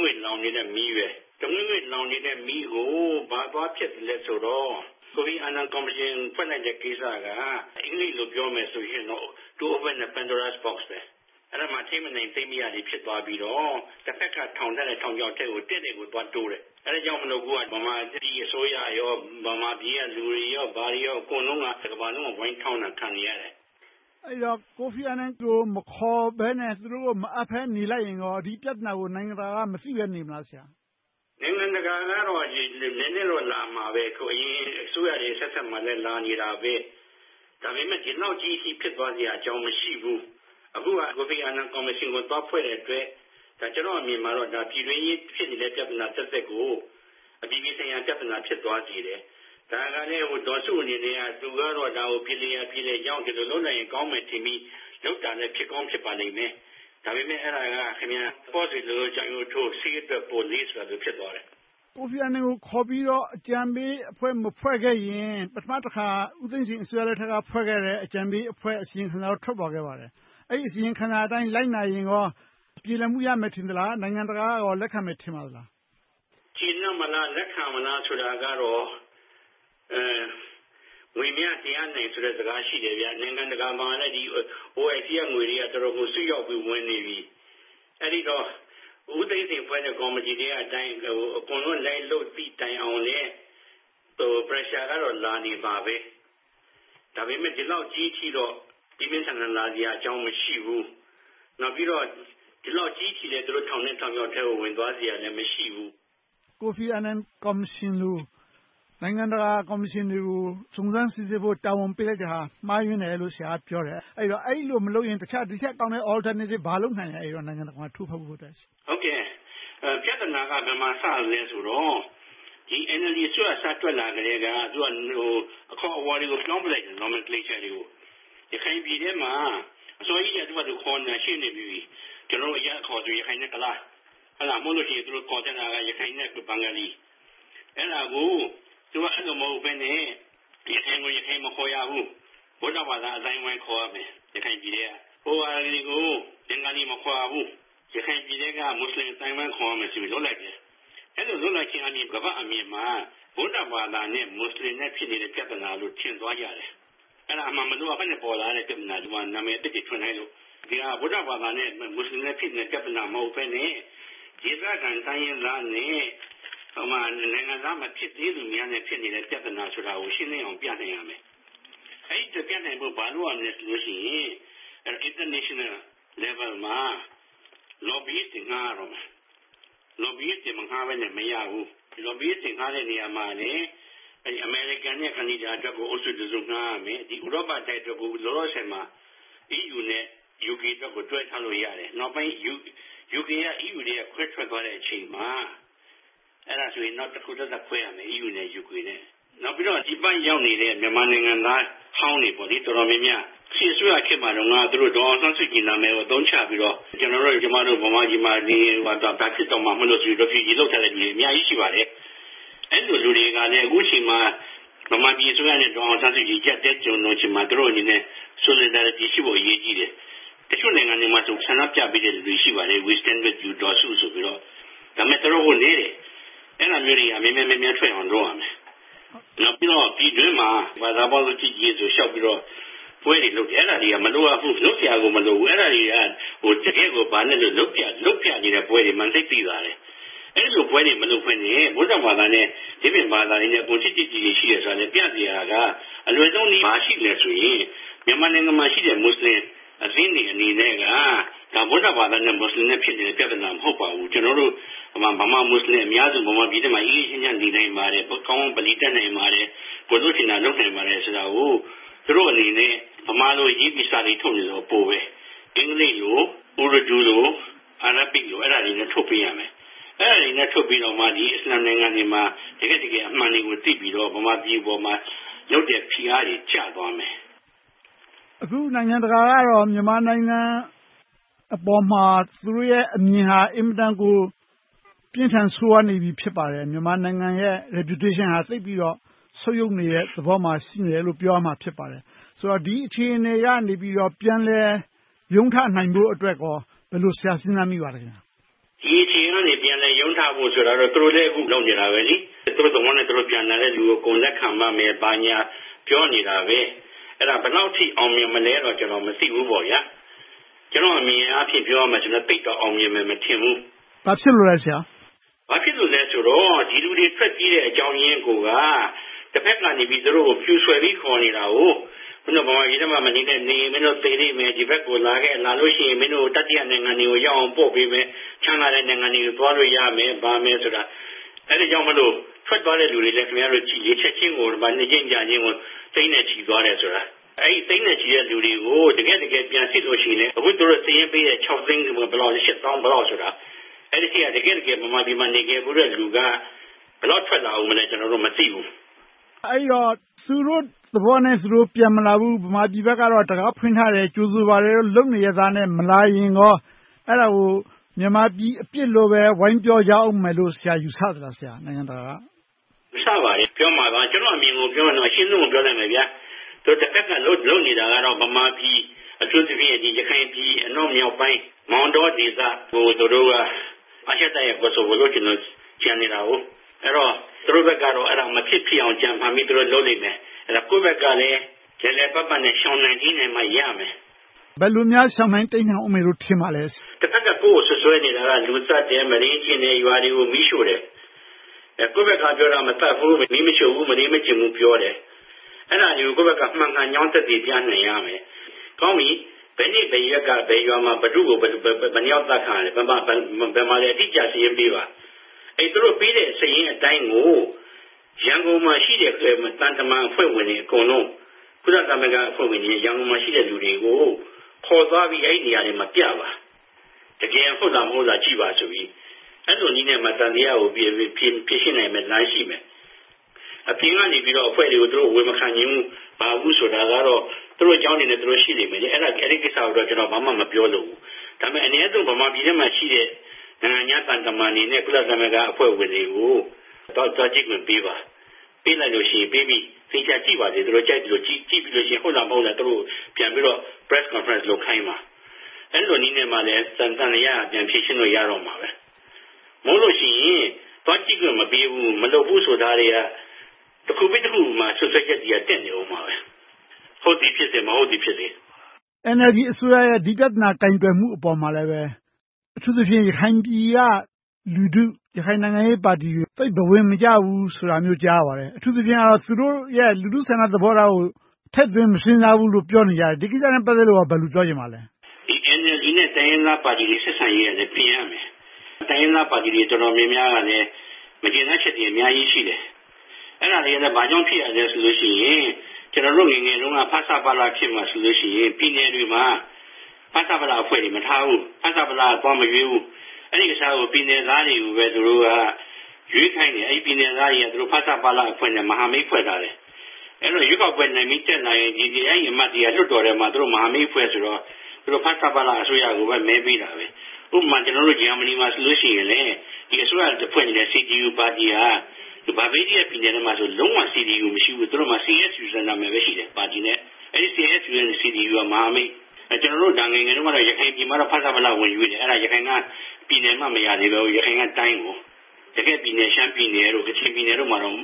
ငွေ့လောင်နေတဲ့ မီးကို ဘာသွားဖြတ်သလဲဆိုတော့ ကိုဖီအာနန် ကော်မရှင် ဖွဲ့လိုက်တဲ့ ကိစ္စက အင်္ဂလိပ်လို ပြောမယ်ဆိုရင် To open the Pandora's box ဖြစ်တယ်။ အဲဒီမှာ ထိန်းမနိုင်သိမ်းမရတွေ ဖြစ်သွားပြီးတော့ တဘက်က ထောင်ထားတဲ့ ထောင်ချောက်ထဲကို တည့်တည့်ကြီးကို သွားတိုးတယ်။ အဲဒါကြောင့်မို့ ဗမာအစိုးရ၊ ဗမာပြည်ကလူတွေ အကုန်လုံး တကမ္ဘာလုံးရဲ့ ဝိုင်းထောင်းတာကို ခံနေရတယ်။ အဲဒီတော့ ကိုဖီအာနန်တို့ကို မခေါ်ဘဲနဲ့၊ သူတို့ကို မအပ်ဘဲနဲ့ နေလိုက်ရင်ကော ဒီပြဿနာကို နိုင်ငံတကာက မသိပဲ နေပါ့မလား။ နိုင်ငံတကာကတော့ နည်းနည်းတော့ လာမှာပဲ။ အရင်အစိုးရတွေ အဆက်ဆက်မှာလည်း လာနေတာပဲ။ ဒါပေမဲ့ ဒီလောက်ကြီးအထိ ဖြစ်သွားစရာ အကြောင်းမရှိဘူး။ အခုဟာက ကိုဖီအာနန် ကော်မရှင်ကို သွားဖွဲ့လိုက်တဲ့အတွက် ကျနော့်အမြင်မှာ ပြည်တွင်းရေး ဖြစ်နေတဲ့ ပြဿနာသက်သက်ကို အပြည်ပြည်ဆိုင်ရာ ပြဿနာ ဖြစ်သွားစေတယ်။ ဒါကလဲ ဒေါ်စုအနေနဲ့က ဒီပြဿနာကို ပြေလည်ရာ ပြေလည်ကြောင်း ဒီလိုလုပ်လိုက်ရင် ကောင်းမယ်ထင်ပြီး လုပ်တာလဲ ဖြစ်ကောင်းဖြစ်ပါလိမ့်မယ်။ ဒါပေမဲ့ အဲဒါက ပေါ့စေလိုလို့ ကြောင်ရုပ်ထိုး၊ ဆေးအတွက် ပိုလေး ဖြစ်သွားတယ်။ ကိုဖီအာနန်ကို ခေါ်ပြီးတော့ အကြံပေးအဖွဲ့ မဖွဲ့ခဲ့ရင် ပထမတခါ ဦးသိန်းစိန်အစိုးရလက်ထက်က ဖွဲ့ခဲ့တဲ့ အကြံပေးအဖွဲ့ အစီရင်ခံစာ ထွက်ပေါ်ခဲ့ပါတယ်။ အဲဒီ အစီရင်ခံစာအတိုင်း လိုက်နာရင်ကော ပြေလည်မှု ရမယ်ထင်ပါသလား။ နိုင်ငံတကာက လက်ခံမယ် ထင်ပါသလား။ ကျေနပ်သလား၊ လက်ခံမလား ဆိုတာကတော့ ငွေများ တရားနိုင်စကား ရှိတယ်။ နိုင်ငံတကာမှာလည်း OIC က ငွေတွေက တော်တော်ကို စိမ့်ရောက်ဝင်နေပြီ။ အဲဒီတော့ ဦးသိန်းစိန် ဖွဲ့တဲ့ကော်မတီအတိုင်း လိုက်လုပ်အုံး - အကုန်လုံး လိုက်လုပ်သည့်တိုင်အောင်လဲ Pressure ကတော့ လာနေမှာပဲ။ ဒါပေမဲ့ ဒီလောက်ကြီးအထိတော့ ပြင်းပြင်းထန်ထန် လာစရာ အကြောင်းမရှိဘူး။ နောက်ပြီးတော့ ဒီလောက်ကြီးအထိ သူတို့ထောင်တဲ့ ထောင်ချောက်ထဲကို ဝင်သွားစရာလည်း မရှိဘူး။ ကိုဖီအာနန် ကော်မရှင်လို နိုင်ငံတကာကော်မရှင်တွေကို စုံစမ်းစစ်ဆေးဖို့ တာဝန်ပေးလိုက်တာဟာ မှားယွင်းတယ်လို့ ဆရာက ပြောတယ်။ အဲဒီလို မလုပ်ရင် တခြား ဒီထက်ကောင်းတဲ့ Alternative ဘာလုပ်နိုင်လဲ… နိုင်ငံတကာကို ထိုးဖောက်ဖို့အတွက်။ ပြဿနာက ဘယ်မှာစသလဲဆိုတော့ ဒီ NLD အစိုးရ စထွက်လာကတည်းက အခေါ်အဝေါ်တွေကို ပြောင်းပြစ်လိုက်တယ်။ ရခိုင်ပြည်ထဲမှာ အစောကြီးကတည်းက သူ့ဘာသာသူ ခေါ်နေတာ ရှိနေပြီးပြီ။ အရပ်အခေါ်ဆိုရင် ရခိုင် နဲ့ ကုလား။ သို့မဟုတ် ရခိုင် နဲ့ ဘင်္ဂလီ။ အဲဒါကို သူက အဲဒီလို မဟုတ်ဘဲနဲ့ ရခိုင်ကို ရခိုင်မခေါ်ရဘူး။ ဗုဒ္ဓဘာသာ အသိုင်းအဝိုင်း ခေါ်ရမယ်။ ဟိုဟာတွေကို ဘင်္ဂလီ မခေါ်ရဘူး။ ရခိုင်ပြည်ထဲက မူစလင် အသိုင်းအဝိုင်း ခေါ်ရမယ်ဆိုပြီး လုပ်လိုက်တယ်။ အဲဒီလို လုပ်လိုက်ခြင်းအားဖြင့် ကမ္ဘာ့အလယ်မှာ ဗုဒ္ဓဘာသာနဲ့ မူစလင်နဲ့ ဖြစ်နေတဲ့ ပြဿနာလို့ ထင်သွားကြတယ်။ အဲဒါ မလိုအပ်ဘဲနဲ့ ပေါ်လာတဲ့ ပြဿနာ။ နာမည်သစ်တွေ ထွင်လိုက်လို့။ ဒီဟာက ဗုဒ္ဓဘာသာ နဲ့ မူစလင်တို့ ဖြစ်နေတဲ့ ပြဿနာ မဟုတ်ဘဲနဲ့ ဒေသခံတိုင်းရင်းသားနဲ့ နိုင်ငံသား မဖြစ်သေးသူများ ဖြစ်နေတဲ့ ပြဿနာဆိုတာကို ရှင်းလင်းအောင် ပြနိုင်ရမယ်။ အဲဒီလို ပြနိုင်ဖို့ ဘာလုပ်ရမလဲဆိုတော့ International Level မှာ Lobbyists တွေ ငှားရတော့မယ်။ Lobbyists တွေ မငှားဘဲနဲ့ မရဘူး။ Lobbyists တွေ ငှားတဲ့နေရာမှာလဲ အမေရိကန်နဲ့ ကနေဒါအတွက်ကို အုပ်စုတစု ငှားရမယ်။ ဒီ ဥရောပတိုက်အတွက်ကို လောလောဆယ်မှာ EU နဲ့ UK အတွက်ကို တွဲငှားလို့ရတယ်။ နောက်ပိုင်း UK က EU ထဲက ခွဲထွက်သွားတဲ့အချိန်မှာ အဲဒါဆို နောက်တဖွဲ့သက်သက် ဖွဲ့ရမယ် EU နဲ့ UK အတွက်။ နောက်ပြီးတော့ ဒီဘက်ရောက်နေတဲ့ မြန်မာနိုင်ငံသားဟောင်းတွေ တော်တော်များများ စစ်အစိုးရခေတ်မှာတုန်းက ဒေါ်အောင်ဆန်းစုကြည် နာမည်ကို အသုံးချပြီးတော့ ကျနော်တို့၊ ကျမတို့ ဗမာပြည်မှာနေရင် ဘာဖြစ်မယ်ဆိုပြီးတော့ Refugee ခံယူထားသူတွေ အများကြီးရှိပါတယ်။ အဲဒီလူတွေက အခုအချိန်မှာ ဗမာပြည်အစိုးရနဲ့ ဒေါ်အောင်ဆန်းစုကြည်တို့ အကျပ်အတည်းကြုံနေချိန်မှာ သူတို့အနေနဲ့ Solidarity ဖြစ်ဖို့ အရေးကြီးတယ်။ တချို့နိုင်ငံတွေမှာဆို ဆန္ဒပြပေးတဲ့ လူတွေ ရှိပါတယ်… We stand up with Daw Suu ဆိုပြီးတော့။ ဒါပေမဲ့ တော်တော်နည်းတယ်။ အဲဒါမျိုးတွေ မြန်မြန်များများထွက်အောင် လုပ်ရမယ်။ နောက်ပြီးတော့ ပြည်တွင်းမှာ ဘာသာပေါင်းစုံ ချစ်ကြည်ရေးဆိုပြီးတော့ ချစ်ကြည်ရေးဆိုပြီးတော့ လျှောက်ပြီးတော့ ပွဲတွေလုပ်တယ်။ အဲဒါတွေက မလိုအပ်ဘူး။ လုပ်စရာကို မလိုဘူး။ အဲဒါတွေက တကယ်ကို ဘာနဲ့တူသလဲဆိုရင် လုပ်ပြနေတဲ့ ပွဲတွေမှန်း သိသာပါတယ်။ အဲဒီလိုပွဲတွေ မလုပ်ဘဲနဲ့ ဗုဒ္ဓဘာသာနဲ့ ဒီအပြင်ဘာသာတွေ ချစ်ချစ်ခင်ခင် ရှိတယ်ဆိုတာလဲ ပြစရာက အလွယ်ဆုံးနည်း ဘာရှိသလဲဆိုရင် မြန်မာနိုင်ငံမှာရှိတဲ့ မူစလင်အသင်းတွေအနေနဲ့ ဒါက ဗုဒ္ဓဘာသာ နဲ့ မူစလင်တို့ ဖြစ်နေတဲ့ ပြဿနာ မဟုတ်ပါဘူး။ ကျနော်တို့ ဗမာ-မူစလင် အများစု နိုင်ငံပြည်တွင်းမှာ ငြိမ်းငြိမ်းချမ်းချမ်း နေနိုင်ပါတယ်။ ကောင်းကောင်း ဗလီ တက်နိုင်ပါတယ်။ ကိုယ်လုပ်ချင်တာ လုပ်နိုင်ပါတယ် ဆိုတာတွေကို သူတို့တွေအနေနဲ့ ဗမာလိုရေးပြီး စာတွေထုတ်နေလို့က အပိုပဲ။ အင်္ဂလိပ်လို၊ Uradu, Arabics လို အဲဒါတွေနဲ့ ထုတ်ပေးရမယ်။ အဲဒါတွေနဲ့ ထုတ်ပေးပြီးမှ ဒီအစ္စလာမ်နိုင်ငံတွေမှာ တကယ့်တကယ် အမှန်တွေကို သိပြီးတော့ ဗမာပြည်ပေါ် ရုတ်တရက် ဖိအားတွေ ကျသွားမယ်။ အခု နိုင်ငံတကာက မြန်မာနိုင်ငံအပေါ်မှာ သူတို့ရဲ့ အမြင်က အင်မတန်ကို ပြင်းထန်ဆိုးဝါးနေပြီ ဖြစ်ပါတယ်။ မြန်မာနိုင်ငံရဲ့ Repution ဟာ သိပ်ပြီးတော့ ဆုတ်ယုတ်နေတဲ့သဘော ရှိနေတယ်လို့ ပြောရမှာ ဖြစ်ပါတယ်။ ဆိုတော့ ဒီအခြေအနေကနေပြီး ပြန်လည်ရုန်းထွက်နိုင်ဖို့အတွက်ကို ဘယ်လို စဉ်းစားမိပါလဲ။ ဒီအခြေအနေကနေ ပြန်လည်ရုန်းထဖို့ဆိုတာကတော့ သူတို့လည်း အခုလုပ်နေတာပဲ။ သူတို့သဘောနဲ့ ပြန်လာတဲ့လူကို အကုန်လက်ခံပါမယ်။ ဘာညာ ပြောနေတာပဲ။ အဲဒါ ဘယ်လောက်အထိ အောင်မြင်မလဲဆိုတာကို ကျနော် မသိဘူး။ ကျနော့်အမြင်အားဖြင့် ပြောရရင်တော့ သိပ်တော့အောင်မြင်မယ်လို့ မထင်ဘူး။ ဘာဖြစ်လို့လဲ ဆရာ။ ဘာဖြစ်လို့လဲဆိုတော့ ဒီလူတွေ ထွက်ပြေးရတဲ့ အကြောင်းရင်းကိုက တဘက်ကနေ သူတို့ကို မြူဆွယ်ပြီး ခေါ်နေတာကို “မင်းတို့ ဗမာပြည်ထဲမှာ မနေနဲ့၊ နေရင် မင်းတို့ သေလိမ့်မယ်။ ဒီဘက်ကို လာခဲ့။ လာလို့ရှိရင် မင်းတို့ကို တတိယနိုင်ငံတွေကို ရောက်အောင်ပို့ပေးမယ်။ ချမ်းသာတဲ့ နိုင်ငံတွေကို သွားလို့ရမယ်။ ဘာညာဆိုတာ” အဲဒီအတွက်ကြောင့် ထွက်သွားတဲ့လူတွေကို ကြည့်လိုက် ချက်ချင်းကို နေ့ချင်းညချင်းကို သိန်းနဲ့ချီသွားတယ်။ အဲဒီ သိန်းနဲ့ချီတဲ့ လူတွေကို တကယ့်တကယ် ပြန်စစ်လို့ရှိရင် အခု သူတို့စာရင်းပေးတဲ့ ခြောက်သိန်းရှစ်သောင်း ဘယ်လောက်ဆိုတာ အဲဒီထဲက တကယ့်တကယ် ဗမာပြည်ထဲမှာ နေခဲ့ဖူးတဲ့ လူက ဘယ်လောက်ထွက်လာအုံးမလဲ ကျနော်တို့ မသိဘူး။ အဲဒီတော့ သူတို့သဘောနဲ့ သူတို့ ပြန်မလာဘူး။ ဗမာပြည်ဘက်ကတော့ တံခါးဖွင့်ထားတယ်။ ကြိုဆိုနေပါတယ် လုပ်နေရက်နဲ့ မလာရင်ကော အဲဒါကို မြန်မာပြည်အပြစ်လို့ ဝိုင်းပြောမယ်လို့ ဆရာ ယူဆပါလား။ ယူဆမှာပါ။ ပြောမှာပါ။ ကျနော့်အမြင်ကို ပြောရင်တော့ အရှင်းဆုံးကို ပြောလိုက်မယ်… တဘက်က လုပ်နေတာကတော့ ဗမာပြည်၊ အထူးသဖြင့် ရခိုင်ပြည် အနောက်မြောက်ပိုင်း မောင်းတောဒေသကို သူတို့က အာရှတိုက်ရဲ့ ကိုဆိုဗိုလို့ ကြံနေတာ။ အဲဒီတော့ သူတို့ဘက်ကတော့ အဲဒါ မဖြစ်ဖြစ်အောင် ကြံဖန်ပြီး လုပ်လိမ့်မယ်။ ကိုယ့်ဘက်ကလဲ လည်လည်ပတ်ပတ်နဲ့ ရှောင်နိုင်တိမ်းနိုင်မှ ရမယ်။ ဘယ်လိုများ ရှောင်နိုင်တိမ်းနိုင်မယ်အုံးမယ်လို့ ထင်ပါလဲ။ တဘက်က ကိုယ့်ကို စွပ်စွဲနေတာက လူသတ်တယ်။ မုဒိမ်းကျင့်တယ်။ ရွာတွေကို မီးရှို့တယ်။ ကိုယ့်ဘက်က ပြောတာက မသတ်ဘူး၊ မီးမရှို့ဘူး၊ မုဒိမ်းမကျင့်ဘူး ပြောတယ်။ အဲဒါတွေကို မှန်ကန်ကြောင်း ကိုယ့်ဘက်က ပြသနိုင်ရမယ်။ “ကောင်းပြီ.. ဘယ်နေ့ဘယ်ရက်က ဘယ်ရွာမှာ ဘယ်သူတွေ ဘယ်လောက်အသတ်ခံရတယ်။ ဘယ်မှာလဲ အတိအကျ စာရင်းပေးပါ။ အဲဒီ သူတို့ပေးတဲ့ စာရင်းအတိုင်းကို ရန်ကုန်မှာရှိတဲ့ သံတမန်အဖွဲ့ဝင်တွေ အကုန်လုံး၊ ကုလသမဂ္ဂအဖွဲ့ဝင်တွေကို ခေါ်သွားပြီး အဲဒီနေရာတွေမှာပြပါ။ တကယ်ဟုတ်လား မဟုတ်လားဆိုတာကို ကြည့်ပါဆိုပြီး အဲဒီနည်းနဲ့ သံသယကို ဖြေရှင်းနိုင်မယ့်လိုင်းရှိမယ်။ အပြင်ကနေ အဖွဲ့တွေကို အဝင်မခံနိုင်ဘူး။ ဘာညာဆိုတာကတော့ သူတို့အကြောင်းတွေနဲ့ သူတို့ ရှိလိမ့်မယ်။ အဲဒီကိစ္စကိုတော့ ဘာမှမပြောလိုဘူး။ ဒါပေမဲ့ အနည်းဆုံး ဗမာပြည်ထဲမှာရှိတဲ့ နိုင်ငံခြားသံတမန်တွေ၊ ကုလသမဂ္ဂအဖွဲ့ဝင်တွေကို သွားကြည့်ခွင့် ပေးလိုက်ပါ။ ပေးပြီးတဲ့အခါ သူတို့ သေချာကြည့်ပါစေ၊ အကုန်လုံး ကြည့်ပြီးတော့ ဟုတ်လားမဟုတ်လား ပြန်ပြီးတော့ Press Conference လုပ်ခိုင်းပါ။ အဲဒီလိုနည်းနဲ့မှ သံသယက ပြန်ဖြေရှင်းလို့ရမှာ။ မဟုတ်လို့ရှိရင် သွားကြည့်ခွင့် မပေးဘူး။ မလုပ်ဘူးဆိုတာတွေက တခုပြီတခု စွပ်စွဲချက်တွေက တက်နေအုံးမှာ။ ဟုတ်သည်ဖြစ်စေ၊ မဟုတ်သည်ဖြစ်စေ.. NLD အစိုးရရဲ့ ဒီပြဿနာ ကိုင်တွယ်မှုအပေါ်မှာလည်း အထူးသဖြင့် ရခိုင်ပြည်က လူထု၊ ရခိုင်ပြည်က နိုင်ငံရေးပါတီတွေ သိပ်ဘဝင်မကျဘူး ဆိုတာမျိုး ကြားရပါတယ်။ အထူးသဖြင့်တော့ သူတို့ရဲ့ လူထုဆန္ဒ သဘောထားကို ထည့်သွင်းမစဉ်းစားဘူးလို့ ပြောနေကြတယ်။ ဒီကိစ္စနဲ့ ပတ်သက်လို့ ဘယ်လို ပြောချင်ပါလဲ။ NLD နဲ့ တိုင်းရင်းသားပါတီတွေ ဆက်ဆံရေးကလည်း ပြင်ရမယ်။ တိုင်းရင်းသားပါတီတွေ တော်တော်များများကလည်း မကျေနပ်ချက်တွေ အများကြီးရှိတယ်။ အဲဒါတွေက ဘာကြောင့် ဖြစ်ရသလဲဆိုတော့ အရင် ကျနေ်ာတို့ငယ်ငယ်တုန်းက ဖဆပလခေတ်မှာဆိုရင် ပြည်နယ်တွေမှာ ဖဆပလအဖွဲ့တွေ မထားဘူး။ ဖဆပလ က သွားမရွေးဘူး။ အဲဒီအစား ပြည်နယ်သားတွေကို သူတို့က ရွေးခိုင်းတယ်။ ပြည်နယ်သားတွေက ဖဆပလအဖွဲ့နဲ့ မဟာမိတ်ဖွဲ့ထားတယ်။ ရွေးကောက်ပွဲနိုင်လို့ တက်လာတာဖြစ်ဖြစ်၊ လွှတ်တော်ထဲမှာ မဟာမိတ်အဖွဲ့ဆိုတော့ သူတို့ ဖဆပလ အစိုးရကိုပဲ မဲပေးတယ်။ ဥပမာ ကျနော်တို့ ဂျာမဏီမှာဆိုရင် အစိုးရအဖွဲ့အနေနဲ့ CTO ပါတီဟာ..ပြည်နယ်မှာဆို CTO လုံးဝ မရှိဘူး။ CSU ဆိုတဲ့ နာမည်ပဲရှိတယ်။ အဲဒီ CSU ဆိုတာ မဟာမိတ်။ ကျနော်တို့ ငယ်ငယ်တုန်းကတော့ ရခိုင်ပြည်နယ်မှာ ဖဆပလ ဝင်ရွေးတယ်။ အဲဒီမှာ ရခိုင်က ပြည်နယ်အမှတ် မရသေးဘူး။ တကယ့်ပြည်နယ် ရှမ်းပြည်နယ်၊ ကချင်ပြည်နယ်တို့မှာတော့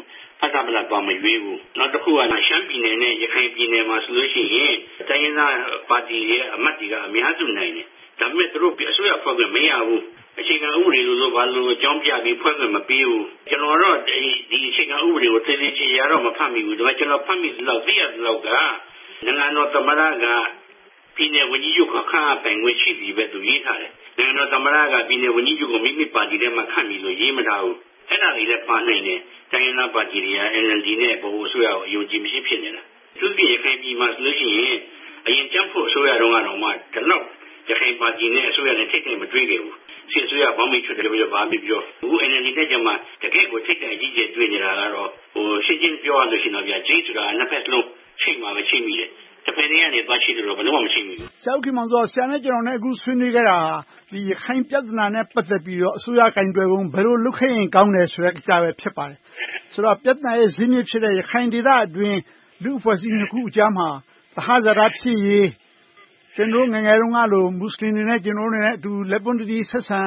ဖဆပလ သွားမရွေးဘူး။ တခုကတော့ ရှမ်းပြည်နယ်နဲ့ ရခိုင်ပြည်နယ်မှာဆိုရင် တိုင်းရင်းသားပါတီတွေက အမတ်တွေက အများစုနိုင်တယ်။ ဒါပေမဲ့ အစိုးရဖွဲ့ခွင့် မရခဲ့ဘူး။ အခြေခံဥပဒေ ဘာညာတို့ကို အကြောင်းပြပြီးတော့ ဖွဲ့ခွင့်မပေးဘူး။ ကျနော်ကတော့ အခြေခံဥပဒေကို သေသေချာချာတော့ မဖတ်ဖြစ်ဘူး။ ကျနော် ဖတ်ရသလောက်၊ သိရသလောက် နိုင်ငံတော်သမ္မတက ပြည်နယ်ဝန်ကြီးချုပ်ကို ခန့်အပ်ပိုင်ခွင့် ရှိပြီလို့ သူ ရေးထားတယ်။ နိုင်ငံတော်သမ္မတက ပြည်နယ်ဝန်ကြီးချုပ်ကို မိမိပါတီထဲမှာ ခန့်ပြီလို့ ရေးမထားဘူး။ အဲဒါတွေလည်း ပါနိုင်တယ်။ တိုင်းရင်းသားပါတီတွေနဲ့ ဗဟိုအစိုးရကို အယုံအကြည်မရှိ ဖြစ်နေတာ။ အထူးသဖြင့် ရခိုင်ပြည်နယ်မှာဆိုရင် အရင်ကြံ့ဖွတ်အစိုးရတုန်းကတောင် ဒီလောက် ရခိုင်ပါတီနဲ့ အစိုးရတို့ ထိပ်တိုက်မတွေ့ခဲ့ဘူး။ စစ်အစိုးရ ဘောင်ဘီချွတ်တယ် ဘာပဲပြောပြော အခု NLD နဲ့ကြမှ တကယ့်ကို ထိပ်တိုက်ကြီး တွေ့နေတာကတော့ ရှင်းရှင်းပြောရရင် ချိတ်ဆိုတာ နှစ်ဘက်စလုံး ချိတ်မိမှ ချိတ်မိတယ်။ တဘက်ကနေ သွားချိတ်လို့တော့ ဘယ်တော့မှ မချိတ်မိဘူး။ ဆရာနဲ့ ကျနော် ဆွေးနွေးခဲ့တာဟာ ရခိုင်ပြဿနာနဲ့ ပတ်သက်ပြီးတော့ အစိုးရ ကိုင်တွယ်ပုံ။ ဘယ်လိုလုပ်ခဲ့ရင် ကောင်းတယ်ဆိုတဲ့ ကိစ္စပဲ ဖြစ်ပါတယ်။ ဆိုတော့ ပြဿနာရဲ့ ဇစ်မြစ်ဖြစ်တဲ့ ရခိုင်ဒေသအတွင်း လူ့အဖွဲ့အစည်းနှစ်ခုကြားမှာ သဟဇာတ ဖြစ်ရေး။ ကျနော်တို့ ငယ်ငယ်တုန်းကလို မူစလင်တွေနဲ့ ကျနော်တို့တွေ လက်ပွန်းတသီ ဆက်ဆံ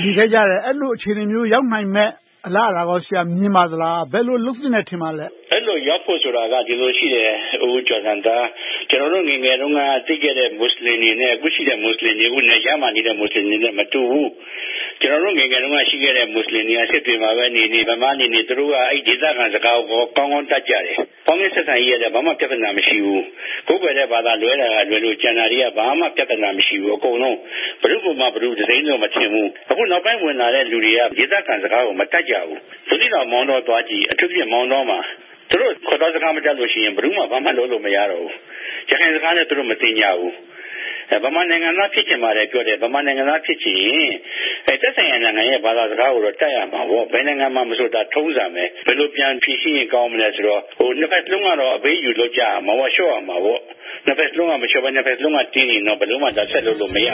နေခဲ့ကြတယ်။ အဲဒီလို အခြေအနေမျိုး ရောက်နိုင်မယ့် အလားအလာကို မြင်ပါသလား။ ဘယ်လို လုပ်သင့်တယ် ထင်ပါသလဲ။ အဲဒီလို ရောက်ဖို့ဆိုတာ ဒီလိုရှိတယ်။ ကျနော်တို့ ငယ်ငယ်တုန်းက သိခဲ့တဲ့ မူစလင်တွေနဲ့ အခုအချိန်မှာ နယ်ခြားမှာနေနေတဲ့ မူစလင်တွေက မတူဘူး။ ကျနော်တို့ ငယ်ငယ်တုန်းက ရှိခဲ့တဲ့ မူစလင်တွေက စစ်တွေမှာနေနေ ဘယ်မှာနေနေ သူတို့က အဲဒီဒေသခံစကားကို ကောင်းကောင်းတတ်ကြတယ်။ ပေါင်းသင်းဆက်ဆံရေးကလည်း ဘာမှမရှိဘူး။ ကိုးကွယ်တဲ့ဘာသာ ကွဲတာကလွဲလို့ ကျန်တာတွေက ဘာမှ ပြဿနာ မရှိဘူး။ အကုန်လုံး ဘယ်သူကိုမှ ဘယ်သူ တစိမ်းလို့ မထင်ဘူး။ အခုနောက်ပိုင်း ဝင်လာတဲ့လူတွေက ဒေသခံစကားကို မတတ်ကြဘူး။ ဘူးသီးတောင်၊ မောင်းတော သွားကြည့် - အထူးသဖြင့် မောင်းတောမှာ သူတို့စကား မတတ်လို့က ဘာမှလုပ်လို့ မရတော့ဘူး။ ရခိုင်စကားလည်း သူတို့ မသင်ကြဘူး။ ဗမာနိုင်ငံသား ဖြစ်ချင်တယ်ပြောတယ် ဗမာနိုင်ငံသား ဖြစ်ချင်ရင် သက်ဆိုင်ရာ နိုင်ငံရဲ့ ဘာသာစကားကိုတော့ တတ်ရမယ်။ ဘယ်နိုင်ငံမှာမဆို ထုံးစံဖြစ်တယ်။ ဘယ်လို ပြန်ဖြေရှင်းရင် ကောင်းမလဲဆိုတော့ နှစ်ဘက်စလုံးက အပေးအယူ လုပ်ကြရမယ်။ လျှော့ရမယ်။ နှစ်ဘက်စလုံးက မလျှော့ဘဲ၊ တင်းနေရင်တော့ ဘယ်လိုမှ ဆက်လုပ်လို့ မရ